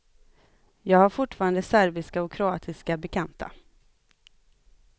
Jag har fortfarande serbiska och kroatiska bekanta.